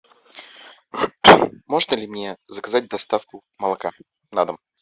можно ли мне заказать доставку молока на дом